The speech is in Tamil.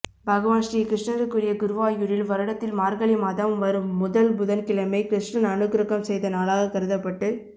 பகவான் ஸ்ரீ கிருஷ்ணருக்குரிய குருவாயூரில் வருடத்தில் மார்கழி மாதம் வரும் முதல் புதன்கிழமை கிருஷ்ணர் அனுக்கிரகம் செய்த நாளாக கருதப்பட்டு